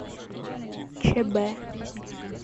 ч б